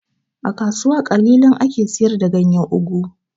A kasuwa ƙalilan ake siyar da ganyan ogu